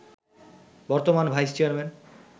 বর্তমান vice chairman